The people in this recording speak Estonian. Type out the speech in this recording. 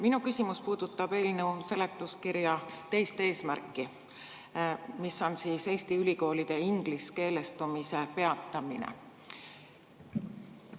Minu küsimus puudutab eelnõu seletuskirjas teist eesmärki, mis on Eesti ülikoolide ingliskeelestumise peatamine.